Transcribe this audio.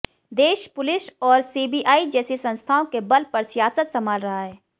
देश पुलिस और सीबीआई जैसी संस्थाओं के बल पर सियासत संभाल रहा है